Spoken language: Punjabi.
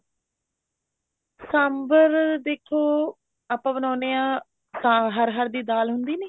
ਸਾਂਬਰ ਦੇਖੋ ਆਪਾਂ ਬਣਾਉਣੇ ਹਾਂ ਹਰ ਹਰ ਦੀ ਦਾਲ ਹੁੰਦੀ ਨੀ